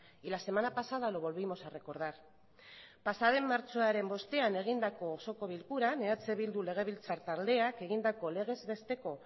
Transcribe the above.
y la semana pasada lo volvimos a recordar pasaden martxoaren bostean egindako osoko bilkuran eh bildu legebiltzar taldeak egindako legez besteko